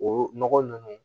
O nɔgɔ ninnu